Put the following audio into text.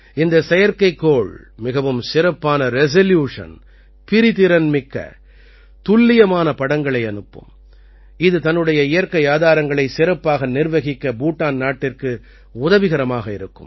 இந்த செயற்கைக்கோள் மிகவும் சிறப்பான ரெசல்யூஷன் பிரிதிறன் மிக்க துல்லியமான படங்களை அனுப்பும் இது தன்னுடைய இயற்கை ஆதாரங்களை சிறப்பாக நிர்வகிக்க பூட்டான் நாட்டிற்கு உதவிகரமாக இருக்கும்